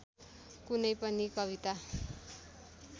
कुनै पनि कविता